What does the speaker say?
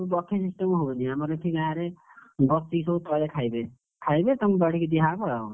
Buffet system ହବନି ଆମର ଏଠି ଗାଁରେ, ବସିକି ସବୁ ତଳେ ଖାଇବେ, ଖାଇବେ ପୁଣି ବାଢିକି ଦିଆ ହବ,